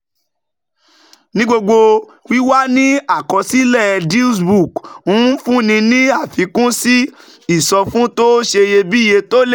Ní gbogbo, wíwà ní àkọsílẹ̀ DealsBook ń fúnni ní àfikún sí ìsọfún tó ṣeyebíye tó lè